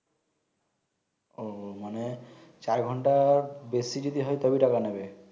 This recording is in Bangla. ও মানে চার ঘন্টা বেশি যদি হয় তবে টাকা নিবে